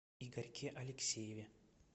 игорьке алексееве